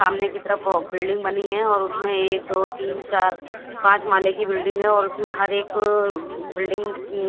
सामने की तरफ वो बिल्डिंग बनी हुई है और उसमे एक दो तीन चार पांच माले की बिल्डिंग है और उसमे हर एक बिल्डिंग --